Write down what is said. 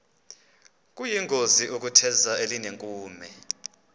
kuyingozi ukutheza elinenkume